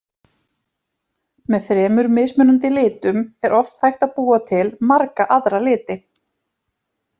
Með þremur mismunandi litum er oft hægt að búa til marga aðra liti.